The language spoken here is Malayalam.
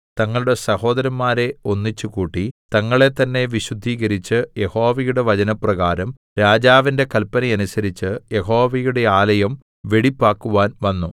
തങ്ങളുടെ സഹോദരന്മാരെ ഒന്നിച്ച് കൂട്ടി തങ്ങളെത്തന്നെ വിശുദ്ധീകരിച്ച് യഹോവയുടെ വചനപ്രകാരം രാജാവിന്റെ കല്പന അനുസരിച്ച് യഹോവയുടെ ആലയം വെടിപ്പാക്കുവാൻ വന്നു